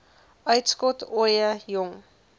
uitskot ooie jong